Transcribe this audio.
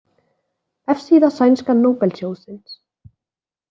Vefsíða sænska Nóbelsjóðsins.